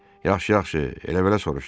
Yaxşı, yaxşı, elə-belə soruşdum.